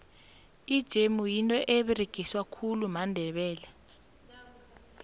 ijemu yinto eberegiswa khulu mandebele